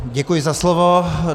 Děkuji za slovo.